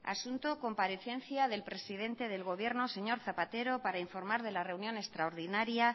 asunto comparecencia del presidente del gobierno señor zapatero para informar de la reunión extraordinaria